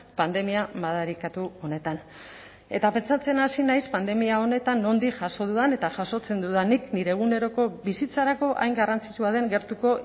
pandemia madarikatu honetan eta pentsatzen hasi naiz pandemia honetan nondik jaso dudan eta jasotzen dudan nik nire eguneroko bizitzarako hain garrantzitsua den gertuko